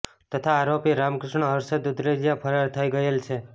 તથા આરોપી રામકૃષ્ણ હર્ષદ દુધરેજીયા ફરાર થઈ ગયેલ છે